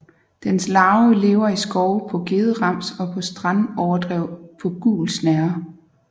Dens larve lever i skove på gederams og på strandoverdrev på gul snerre